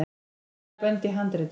hvað eru bönd í handritum